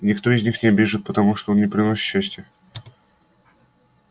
никто из не обижает потому что они приносят счастье